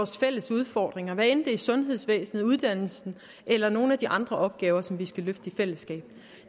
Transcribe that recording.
fælles udfordringer hvad enten det er sundhedsvæsen uddannelse eller nogle af de andre opgaver som skal løftes i fællesskab